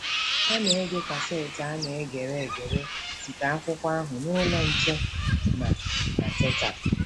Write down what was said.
Ha na-ege kaseti a na-egere egere nke akwụkwọ ahụ na Ụlọ Nche na na Teta!